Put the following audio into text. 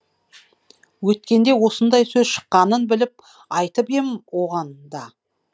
өткенде осындай сөз шыққанын біліп айтып ем оған да